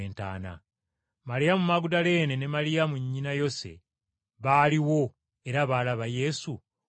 Maliyamu Magudaleene ne Maliyamu nnyina Yose baaliwo era baalaba Yesu we yateekebwa.